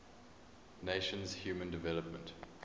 nations human development